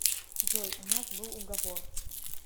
джой у нас был уговор